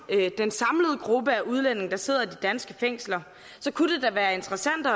den samlede gruppe af udlændinge der sidder i de danske fængsler kunne det da være interessant at